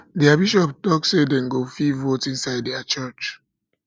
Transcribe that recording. their bishop talk say say dem go fit vote inside their church